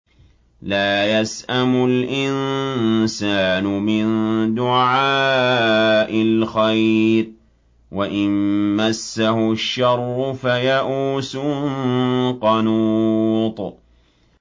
لَّا يَسْأَمُ الْإِنسَانُ مِن دُعَاءِ الْخَيْرِ وَإِن مَّسَّهُ الشَّرُّ فَيَئُوسٌ قَنُوطٌ